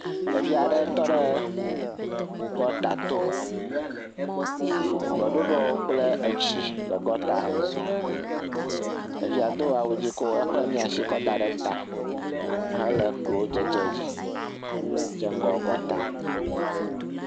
Ɖeviu aɖe tɔ ɖe gɔta to si gbɔɖuɖɔ kple tsi le gɔta me, ɖevi do awu dzɛ̃ kɔ asi da ɖe ta hele klo dzi kɔ eƒe miasi kɔ da ɖe ta kle klo dzedze dzi hedze ŋgɔ gɔta.